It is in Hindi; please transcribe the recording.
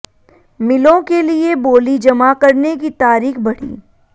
मिलों के लिए बोली जमा करने की तारीख बढ़ी